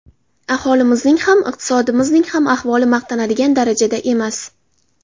Aholimizning ham, iqtisodiyotimizning ham ahvoli maqtanadigan darajada emas.